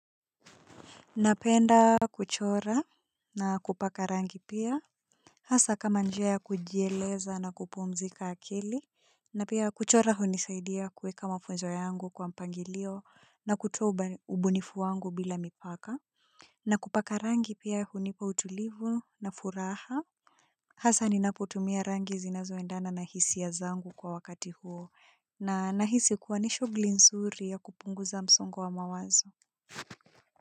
Napenda kuchora na kupaka rangi pia. Hasa kama njia ya kujieleza na kupumzika akili. Na pia kuchora hunisaidia kuweka mahoja yangu kwa mpangilio na kutoa ubunifu wangu bila mipaka. Na kupaka rangi pia hunipa utulivu na furaha. Hasa ninapotumia rangi zinazoendana na hisia zangu kwa wakati huo na nahisi kuwa ni shuguli nzuri ya kupunguza msongo wa mawazo.